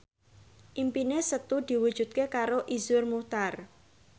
impine Setu diwujudke karo Iszur Muchtar